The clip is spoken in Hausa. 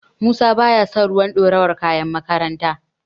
Musa baya son ruwan dorawar kayan makaranta.